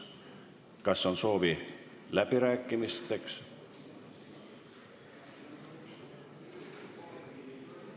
Kas on soovi läbi rääkida?